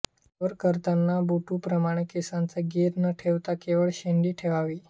क्षौर करतांना बटूप्रमाणे केसांचा घेर न ठेवता केवळ शेंडी ठेवावी